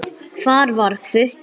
Hvar var Hvutti?